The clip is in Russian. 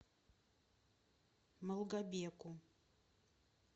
малгобеку